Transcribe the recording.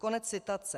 Konec citace.